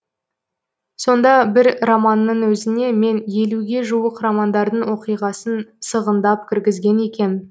сонда бір романның өзіне мен елуге жуық романдардың оқиғасын сығындап кіргізген екем